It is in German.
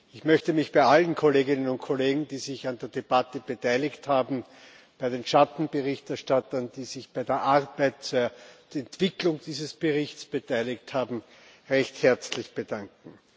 Ich möchte mich bei allen Kolleginnen und Kollegen, die sich an der Debatte beteiligt haben, und bei den Schattenberichterstattern, die sich bei der Arbeit an diesem Bericht beteiligt haben, recht herzlich bedanken.